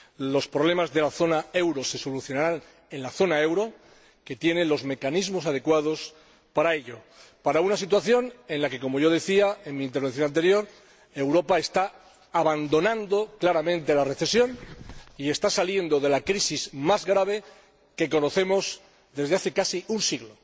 Los problemas de la zona euro se solucionarán en la zona euro, que tiene los mecanismos adecuados para ello, en una situación en la que, como yo decía en mi intervención anterior, Europa está abandonando claramente la recesión y está saliendo de la crisis más grave que conocemos desde hace casi un siglo.